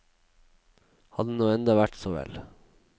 Hadde det nå enda vært så vel.